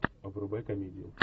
врубай комедию